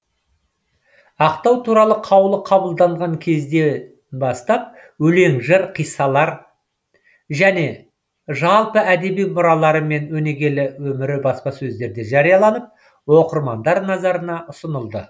ақтау туралы қаулы қабылданған кезден бастап өлең жыр қиссалары жалпы әдеби мұралары мен өнегелі өмірі баспасөздерде жарияланып оқырмандар назарына ұсынылды